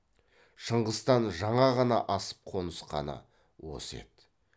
шыңғыстан жаңа ғана асып қонысқаны осы еді